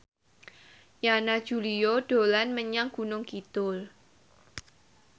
Yana Julio dolan menyang Gunung Kidul